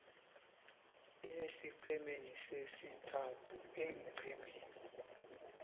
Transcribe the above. esiqhemeni sesithathu eenqhemeni